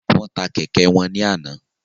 Wọn tà kẹkẹ wọn ní àna